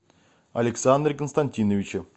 александре константиновиче